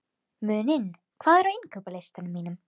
Muninn, hvað er á innkaupalistanum mínum?